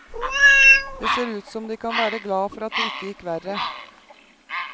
Det ser ut som de kan være glad for at det ikke gikk verre.